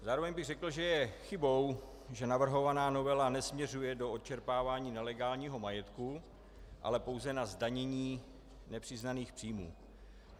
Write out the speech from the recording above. Zároveň bych řekl, že je chybou, že navrhovaná novela nesměřuje do odčerpávání nelegálního majetku, ale pouze na zdanění nepřiznaných příjmů.